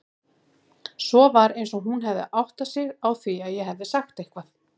Svo var eins og hún áttaði sig á því að ég hefði sagt eitthvað.